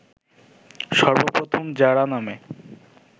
সর্বপ্রথম জারা নামে